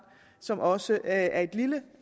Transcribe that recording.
som også er et lille